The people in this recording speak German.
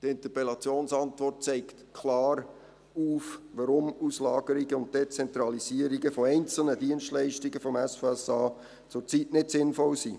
Die Interpellationsantwort zeigt klar auf, warum Auslagerungen und Dezentralisierungen einzelner Dienstleistungen des SVSA zurzeit nicht sinnvoll sind.